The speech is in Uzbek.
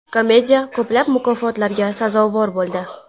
Komediya ko‘plab mukofotlarga sazovor bo‘ldi.